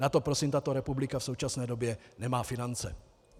Na to prosím tato republika v současné době nemá finance.